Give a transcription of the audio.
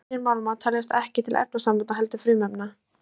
Hreinir málmar teljast ekki til efnasambanda heldur frumefna.